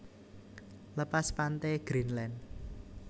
Lepas pante Greendland